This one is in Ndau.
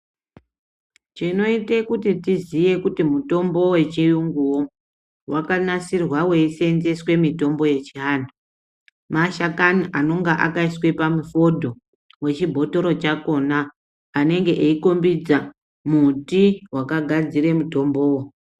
Chinoita kuti tiziye kuti mitombo wechiyunguwo wakanasirwa uchisenzeswa mitombo yechiantu mashakana anonge akaiswa pamufoto wechibhotoro chakhona anenge eikombidza muti wakagadzira mutombowo